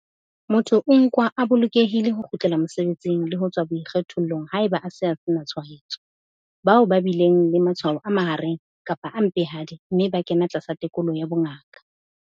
Motho o nkwa a bolokelehile ho kgutlela mosebetsing le ho tswa boikgethollong haeba a se a sena tshwaetso. Bao ba bileng le matshwao a mahareng kapa a mpehadi mme ba kena tlasa tekolo ya bongaka.